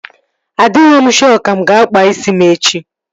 Adighọ m shọ ka mụ aga akpa isi m echi